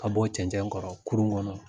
Ka bɔ cɛncɛn kɔrɔ kurun kɔnɔ.